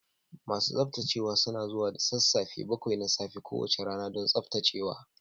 Masu tsaftacewa suna zuwa da sassafe bakwai na safe kowace rana don tsaftacewa.